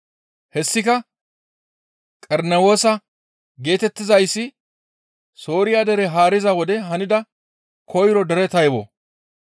Hessika Qerenewoosa geetettizayssi Sooriya dere haariza wode hanida koyro dere taybo.